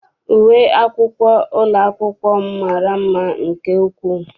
Uwe akwụkwọ ụlọ akwụkwọ m mara mma nke ukwuu.